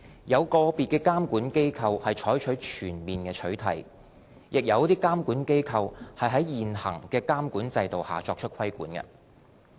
有個別監管機構採取全面取締，亦有監管機構在現行的監管制度下作出規管。